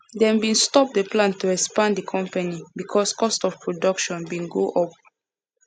them bin stop the plan to expand the company because cost of production bin go up